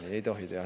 Ei tohi teha!